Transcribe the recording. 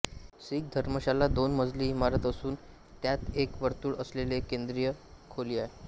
सिख धर्मशाला दोन मजली इमारत असून त्यात एक वर्तुळ असलेले एक केंद्रीय खोली आहे